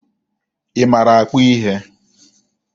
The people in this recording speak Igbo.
Ị maara akpụ ihe?